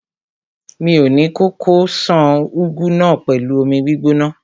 Mi ò ní kókó ṣan úgú náà pẹ̀lú omi gbígbóná.